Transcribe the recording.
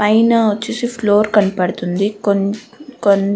పైన వచ్చేసి ఫ్లోర్ కనపడుతుంది కొం కొం --